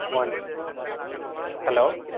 one hello